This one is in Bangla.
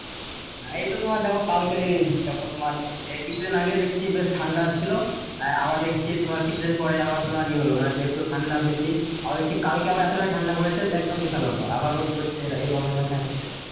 না এই তো তোমার দেখো কালকেরি দেখো তোমার এই কিছু দিন আগে দেখছি বেশ ঠান্ডা ছিলো আর আবার দেখছি তোমার কিছু দিন পরে আবার তোমার ইয়ে হলো মানে যেহুতু ঠান্ডা বেশি আবার হয়েছে কালকে আবার এতটা ঠান্ডা পড়েছে যে একদম আবার রোদ পড়ছে এরা এভাবে মানে হচ্ছে